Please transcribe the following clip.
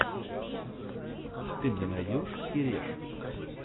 ты мне найдешь кереш